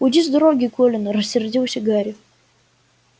уйди с дороги колин рассердился гарри